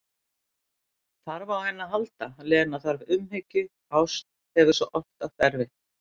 Þarf á henni að halda, Lena, þarf umhyggju, ást, hefur svo oft átt erfitt.